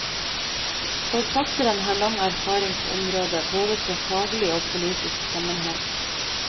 Forfatteren har lang erfaring på området, både fra faglig og politisk sammenheng.